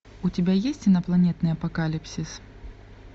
у тебя есть инопланетный апокалипсис